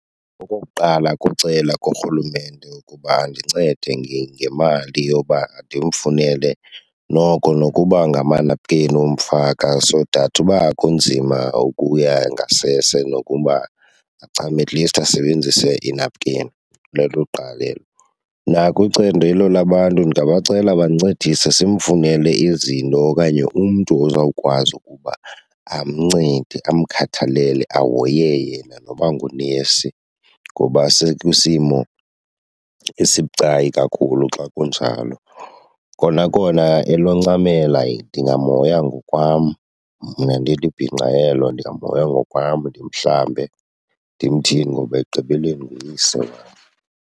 Okokuqala kucela kurhulumente ukuba andincede ngemali yoba ndimfunele noko nokuba ngamanapukeni omfaka so that uba kunzima ukuya ngasese nokuba achame at least asebenzise inapukeni, lelokuqala elo. Nakwicandedo labantu ndingabacela bandincedise simfunele izinto okanye umntu ozawukwazi ukuba amncede amkhathalele, ahoye yena, noba ngunesi, ngoba sekwisimo esibucayi kakhulu xa kunjalo. Kona kona eloncamela ndingamhoya ngokwam mna ndilibhinqa elo, ndingamhoya ngokwam, ndimhlambe ndimthini ngoba ekugqibeleni nguyise wam.